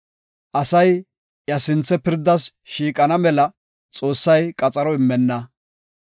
Asay iya sinthe pirdas shiiqana mela, Xoossay qaxaro immenna.